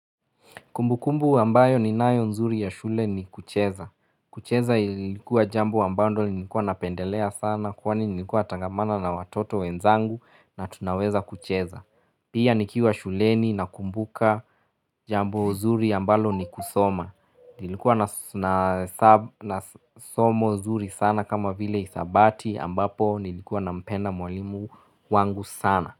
Kumbukumbu ambayo ninayo nzuri ya shule ni kucheza. Kucheza ilikuwa jambo ambalo nilikuwa napendelea sana, kwani nilikuwa natangamana na watoto wenzangu na tunaweza kucheza. Pia nikiwa shuleni nakumbuka jambo zuri ambalo ni kusoma. Nilikuwa nasomo zuri sana, kama vile hisabati ambapo ni nilikuwa nampenda mwalimu wangu sana.